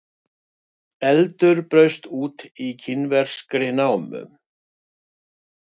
Eldur braust út í kínverskri námu